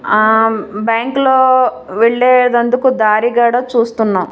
ఆమ్ bank లో వెళ్ళేదందుకు దారిగాడ చూస్తున్నం--